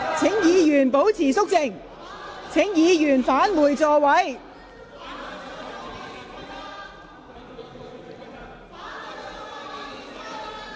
請各位保持肅靜。請議員返回座位。